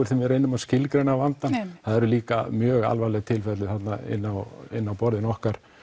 þegar við reynum að skilgreina vandann það eru líka mjög alvarleg tilfelli þarna inni á inni á borðinu okkar